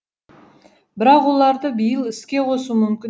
бірақ оларды биыл іске қосу мүмкін